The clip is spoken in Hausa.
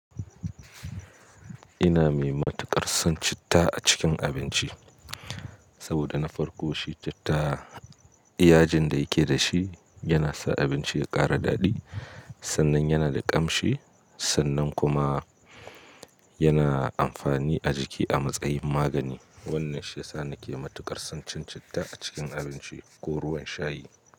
Ina mai matuƙar son citta a cikin abinci. Saboda na farko shi citta yajin da yake da shi yana sa abinci ya ƙara daɗi, sannan yana da ƙamshi, sannan kuma yana amfani a jiki a matsayin magani. Wannan shi ya sa nake matuƙar son cin citta a cikin abinci ko ruwan shayi.